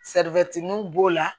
b'o la